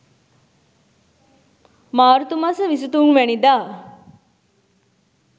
මාර්තු මස 23 වැනිදා